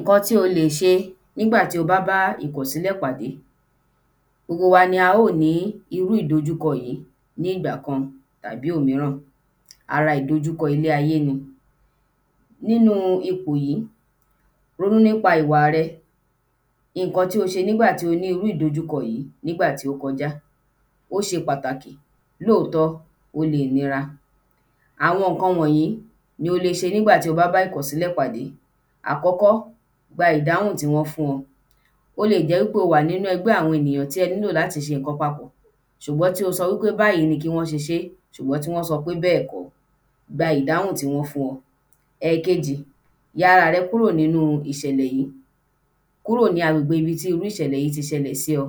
ǹkan tí o lè ṣe nígbàtí o bá bá ìkọ̀sílẹ̀ pàdé gbogbo wa ni a ó ní irú ìdojúkọ yìí ní ìgbà kan tàbí òmíràn, ara ìdojúkọ ilé-ayé ni nínu ipò yìí, ronú nípa ìwà rẹ, ǹkan tí o ṣe nígbàtí o ní àdojúkọ yìí nígbàtí ó kọjá ó ṣe pàtàkì, lóòtọ́ ó lè nira. àwọn ǹkan wọ̀nyí ni o lè ṣe nígbà tí o bá bá ìkọ̀sílẹ̀ pàdé àkọ́kọ́ gba ìdáhùn tí wọ́n fún ọ, ó lè jẹ́ wípé ó wà nínu ẹgbẹ́ àwọn ènìyàn tí ẹ nílò láti ṣe ǹkan papọ̀, ṣùgbọ́n tí ó sọ wípé báyìí ni kí wọ́n ṣe ṣe ṣùgbọ́n tí wọ́n sọ pé bẹ́ẹ̀ kọ́, gba ìdáhùn tí wọ́n fún ọ ẹ̀kejì, ya ara rẹ kúrò nínu ìṣẹ̀lẹ̀ yìí, kúrò ní agbègbè tí irú ìṣẹ̀lẹ̀ yìí ti ṣẹlẹ̀ sí ọ,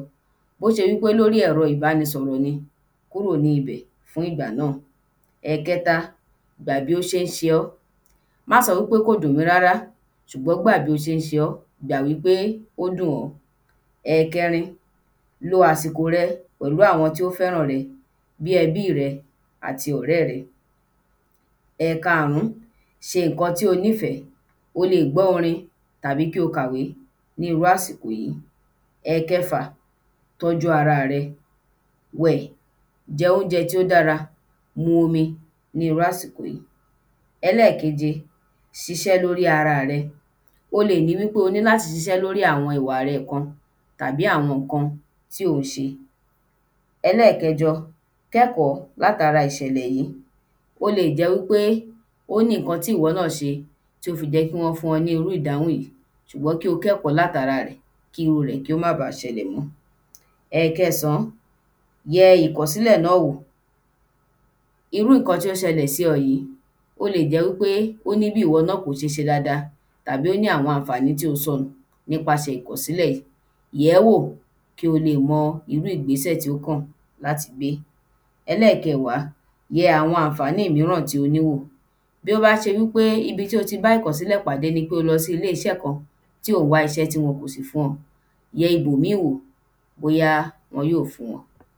bí ó ṣe wípé lóri ẹ̀rọ ìbániṣọ̀rọ̀ ni, kúrò níbẹ̀ fún ìgbà náà ẹ̀kẹta, gbà bí ó ṣe ń ṣe ọ́, má sọ wípé kò dùn mí rárá ṣùgbọ́n gbà bí ó ṣe ń ṣe ọ, gbà wípé ó dùn ọ́ ẹ̀kẹrin lo àsìkò rẹ pẹ̀lú àwọn tí ó fẹ́ràn rẹ, bíi ẹbí rẹ àti ọ̀rẹ́ rẹ ẹ̀karùn ún, ṣe ǹkan tí o nífẹ̀ẹ́, o lè gbọ́ orin tàbí kí o kàwé níru àsìkò yìí ẹ̀kẹfà, tọ́ju ara rẹ, wẹ̀, jẹ oúnjẹ tí ó dára, mu omi ní irú àsìkò yìí ẹlẹ́ẹ̀keje, ṣiṣẹ́ lóri ara rẹ, o lè ní wípé o ní láti ṣiṣẹ́ lóri àwọn ìwà rẹ tabi awọn ǹkan tí o ṣé ẹlẹ́ẹ̀kẹjọ, kọ́ ẹ̀kọ́ láti ara ìṣẹ̀lẹ̀ yìí, ó lè jẹ́ wípé ó ní ǹkan tí ìwọ náà ṣe tí ó fi jẹ́ kí wọ́n fún ọ ní irú ìdáhùn yìí, ṣùgbọ́n kí o kẹ́kọ̀ọ́ láti ara rẹ̀ kí iru rẹ̀ kí ó má baà ṣẹlẹ̀ mọ́ ẹ̀kẹsàn án, yẹ ìkọ̀sílẹ̀ náà wò, irú ǹkan tí ó ṣẹlẹ̀ sí ọ yìí, ó lè jẹ́ wípé ó ní ǹkan bí ìwọ náà ò ti ṣe dáadáa, tàbí o ní àwọn àǹfàní tí o sọnù nípasẹ̀ ìkọ̀sílẹ̀, yẹ̀ẹ́ wò kí o lè mọ irú ìgbésẹ̀ tí ó kàn láti gbé ẹlẹ́ẹ̀kẹwà, yẹ àwọn àǹfàní míràn tí o ní wò, tí ó bá ṣe wípé ibi tí o ti bá ìkọ̀sílẹ̀ pàdé ni pé o lọ sílé iṣẹ́ kan tí o wá iṣẹ́ tí wọn kò sì fún ẹ, yẹ ibòmíì wò bóyá wọn yóò fún ọ